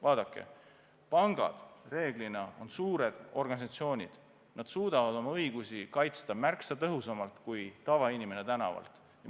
Vaadake, pangad reeglina on suured organisatsioonid, nad suudavad oma õigusi kaitsta märksa tõhusamalt kui tavainimene tänaval.